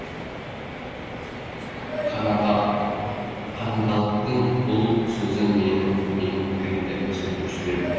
канадалықтың бұл сөзі менің пікірімді өзгертіп жіберді